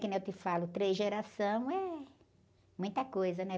Que nem eu te falo, três geração é muita coisa, né?